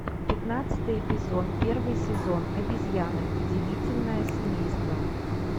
пятнадцатый эпизод первый сезон обезьяны удивительное семейство